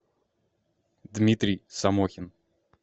дмитрий самохин